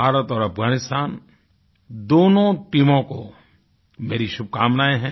भारत और अफगानिस्तान दोनों टीमों को मेरी शुभकामनाएँ हैं